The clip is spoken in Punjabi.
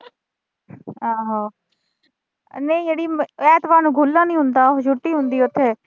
ਆਹੋ ਨਈਂ ਅੜੀਏ, ਐਤਵਾਰ ਨੂੰ ਖੁੱਲ੍ਹਾ ਨੀਂ ਹੁੰਦਾ ਉਹੋ, ਛੁੱਟੀ ਹੁੰਦੀ ਆ ਓਥੇ।